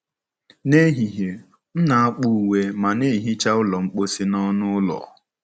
N'ehihie, m na-akpụ uwe ma na-ehicha ụlọ mposi na ọnụ ụlọ.